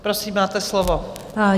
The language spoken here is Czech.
Prosím, máte slovo.